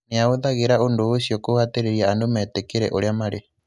Nĩ ahũthagĩra ũndũ ũcio kũhatĩrĩria andũ metĩkĩre ũrĩa marĩ.